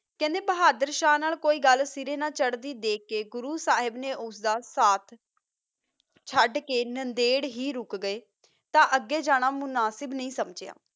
ਖਾਂਦਾ ਬੋਹਾਦਰ ਸ਼ਾਹ ਨਾਲ ਕੋਈ ਗਲ ਨਾ ਚਰਦੀ ਕਾ ਗੁਰੋ ਸਾਹਿਬ ਨਾ ਓਸ ਦਾ ਹਾਸਿਆਬ ਕੀਤਾ ਚੜ ਕਾ ਨੰਦਰ ਹੀ ਰੋਕ ਗਯਾ ਤਾ ਅਗ ਜਾਣਾ ਮੁਨਾਸਿਬ ਨਹੀ ਸੰਜਾ